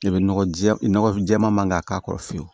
I bɛ nɔgɔ jɛ nɔgɔ jɛman k'a k'a kɔrɔ fiyewu